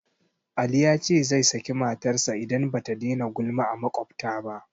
Ali ya ce zai saki matarsa idan ba ta daina gulma a maƙwabta ba